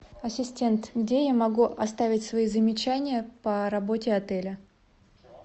ассистент где я могу оставить свои замечания по работе отеля